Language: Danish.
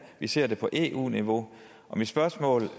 vi ser det på eu niveau og mit spørgsmål